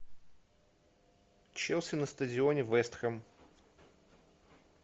челси на стадионе вест хэм